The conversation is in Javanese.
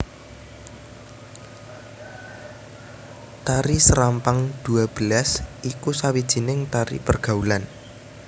Tari serampang dua belas iku sawijining tari pergaulan